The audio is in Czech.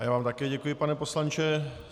A já vám také děkuji, pane poslanče.